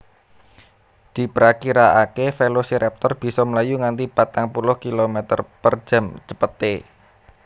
Diprakiraakè Velociraptor bisa mlayu nganti patang puluh kilometer per jam cepetè